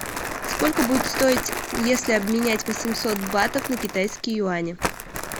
сколько будет стоить если обменять восемьсот батов на китайские юани